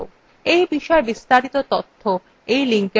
এই বিষয় বিস্তারিত তথ্য এই লিঙ্কএ প্রাপ্তিসাধ্য